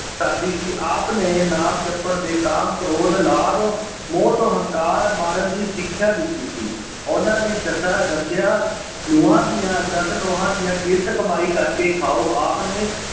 ਸਾਦੀ ਸੀ ਆਪ ਨੇ ਨਾਮ ਜੱਪਣ ਤੇ ਕਾਮ, ਕਰੋਧ, ਲਾਭ, ਮੋਹ ਤੋਂ ਹੰਕਾਰ ਮਾਰਨ ਦੀ ਸਿੱਖਿਆ ਦਿੱਤੀ ਸੀ। ਉਨਾਂ ਨੇ ਦਸਾਂ ਦੱਸਿਆ ਨਹੁੰਆਂ ਦੀਆਂ ਦਸ ਨਹੁੰਆਂ ਦੀਆਂ ਕਿਰਤ ਕਮਾਈ ਕਰਕੇ ਖਾਉ। ਆਪ ਨੇ